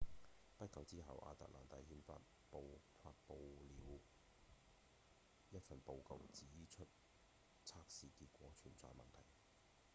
不久之後亞特蘭大憲法報發布了一份報告指出測試結果存在問題